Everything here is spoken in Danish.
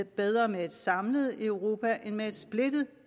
bedre med et samlet europa end med et splittet